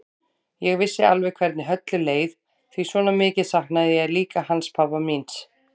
Ég vissi alveg hvernig Höllu leið því svona mikið saknaði ég líka hans pabba míns.